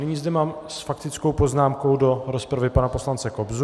Nyní zde mám s faktickou poznámkou do rozpravy pana poslance Kobzu.